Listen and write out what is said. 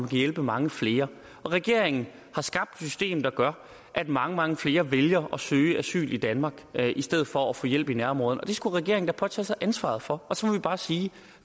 kan hjælpe mange flere regeringen har skabt et system der gør at mange mange flere vælger at søge asyl i danmark i stedet for at få hjælp i nærområderne og det skulle regeringen da påtage sig ansvaret for og så må vi bare sige at